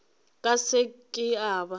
ka se ke a ba